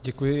Děkuji.